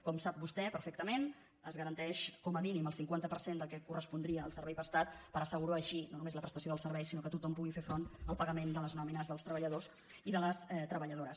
com sap vostè perfectament es garanteix com a mínim el cinquanta per cent del que correspondria al servei prestat per assegurar així no només la prestació del servei sinó que tothom pugui fer front al pagament de les nòmines dels tre·balladors i de les treballadores